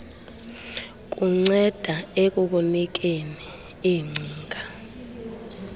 kunceda ekukunikeni iingcinga